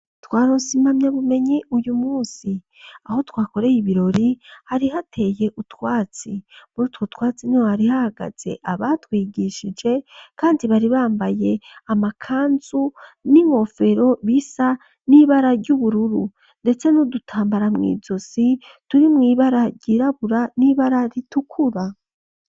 Twaronse impamya bumenyi uyu munsi. Aho twakoreye ibirori hari hateye utwatsi. Murutwo twatsi niho hari hahagaze abatwigishije kandi bari bambaye amakanzu n'ingofero zisa n'ibara ry'ubururu ndetse n'udutambara mw'izosi turi mw'ibara ryirabura n'ibara ritukura.